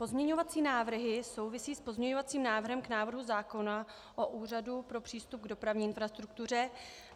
Pozměňovací návrhy souvisí s pozměňovacím návrhem k návrhu zákona o Úřadu pro přístup k dopravní infrastruktuře.